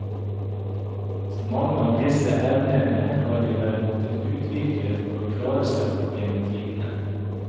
Mange av disse evnene har de vel måttet utvikle for å klare seg opp gjennom tidene.